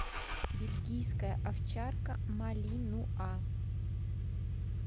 бельгийская овчарка малинуа